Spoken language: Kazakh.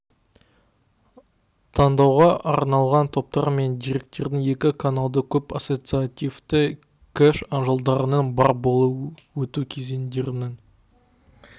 таңдауға арналған топтар мен деректердің екі каналды көп ассоциативті кэш жадыларының бар болуы өту кездерінің